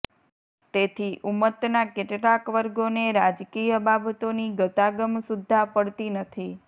તેથી ઉમ્મતના કેટલાક વર્ગોને રાજકીય બાબતોની ગતાગમ સુદ્ધા પડતી નથી